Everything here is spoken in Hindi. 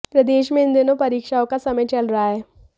प्रदेश में इन दिनों परीक्षाओं का समय चल रहा है